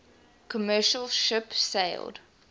commercial ship sailed